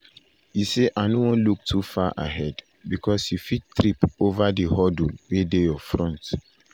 e say "i no wan look too far ahead bicos you fit trip ova di hurdle wey dey your front."